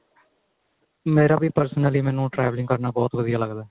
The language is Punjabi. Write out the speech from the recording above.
ਮੇਰਾ ਵੀ personal ਮੈਨੂੰ traveling ਕਰਨਾ ਬਹੁਤ ਵਧੀਆ ਲੱਗਦਾ